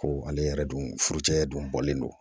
Ko ale yɛrɛ dun furucɛ dun bɔlen don